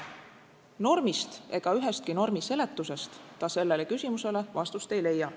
Normist ega ühestki normi seletusest ta sellele küsimusele vastust ei leia.